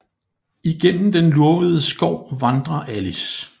Igennem den lurvede skov vandrer Alice